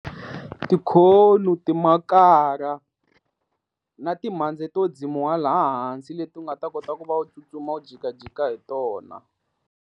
timakara na timhandzi to ndzimiwa laha hansi leti nga ta kota ku va u tsutsuma u jikajika hi tona.